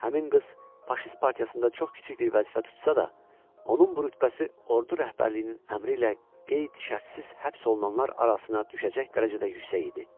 Həmin qız faşist partiyasında çox kiçik bir vəzifə tutsa da, onun bu rütbəsi ordu rəhbərliyinin əmri ilə qeyd-şərtsiz həbs olunanlar arasına düşəcək dərəcədə yüksək idi.